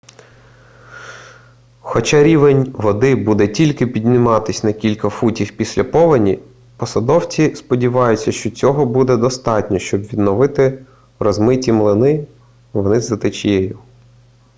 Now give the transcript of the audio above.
хоча рівень води буде тільки підніматись на кілька футів після повені посадовці сподіваються що цього буде достатньо щоб відновити розмиті мілини вниз за течією